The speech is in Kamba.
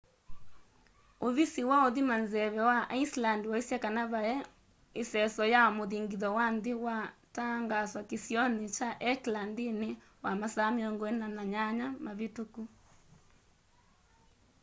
ũvisi wa ũthima nzeve wa iceland waĩsye kana vaĩ iseso ya muthingitho wa nthĩ waa tangaaswa kĩsionĩ kya hekla nthĩnĩ wa masaa 48 mavĩtũku